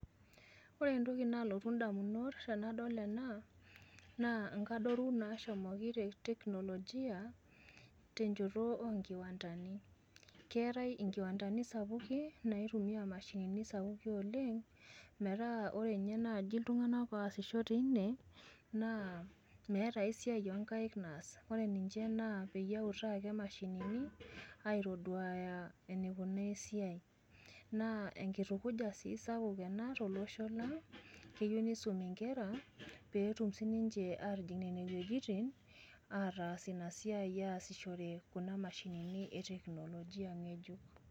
Ore entoki naalotu indamunot tenadol ena, naa inkadoru naashomoki te teknologia, tenjeto oonkiwantani. Keetai enkiwantani sapuki naitumiya imashinini sapuki oleng',metaa ore ninye naaji iltunganak oasisho teina naa meeta enkae siai oo nkaik naas, ore ninje naa peyie eutaa ake imashinini aitoduaya eneikunaa esiai. Naa enkitukuja sii sapuk ena tolosho lang' keyieu neisumi inkere peetum sinje atijing' nenewojitin, etaas ina siai ataasishore kuna mashinini e teknologia nkejuk.